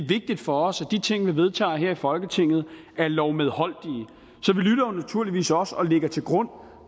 vigtigt for os at de ting vi vedtager her i folketinget er lovmedholdelige og lægger til grund